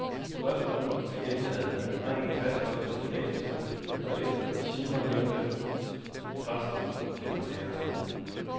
Spørgsmålet blev gentaget, men drengen fastholdt sin benægtelse, og efter timen nævnte præsten det for læreren.